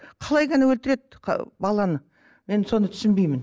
қалай ғана өлтіреді баланы енді соны түсінбеймін